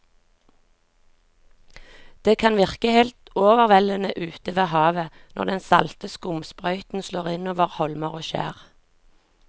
Det kan virke helt overveldende ute ved havet når den salte skumsprøyten slår innover holmer og skjær.